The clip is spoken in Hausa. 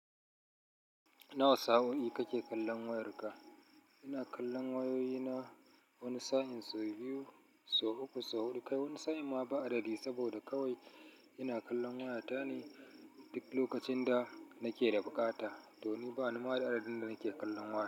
Nawa sa'o'i kake kallon wayarka? Ina kallon wayoyi na wani sa'in sau biyu, sau uku, sau huɗu, kai wani sa'in ma ba adadi saboda kawai ina kallon waya ta ne duk lokacin da nake da buƙata. To ni ba ni ma adadin da nake kallon waya.